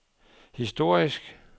historisk